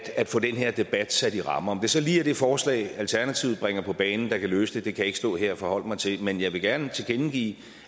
at få den her debat sat i rammer om det så lige er det forslag alternativet bringer på banen der kan løse det kan jeg ikke stå her og forholde mig til men jeg vil gerne tilkendegive